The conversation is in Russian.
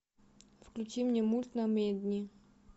включи мне мульт намедни